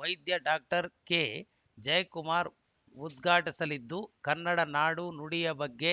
ವೈದ್ಯ ಡಾಕ್ಟರ್ ಕೆಜಯಕುಮಾರ್‌ ಉದ್ಘಾಟಿಸಲಿದ್ದು ಕನ್ನಡ ನಾಡು ನುಡಿಯ ಬಗ್ಗೆ